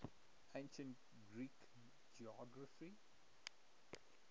ancient greek geography